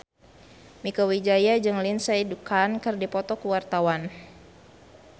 Mieke Wijaya jeung Lindsay Ducan keur dipoto ku wartawan